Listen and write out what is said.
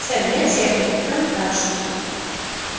сэр я техник причём старший